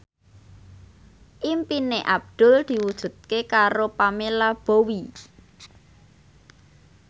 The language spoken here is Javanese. impine Abdul diwujudke karo Pamela Bowie